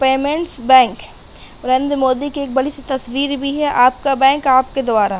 Payments bank Narendra Modi की एक बड़ी सी तस्वीर भी है। आपका बैंक आपके द्वारा --